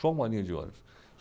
Só uma linha de ônibus.